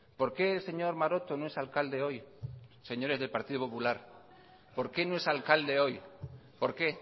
por qué el señor maroto no es alcalde hoy señores del partido popular por qué no es alcalde hoy por qué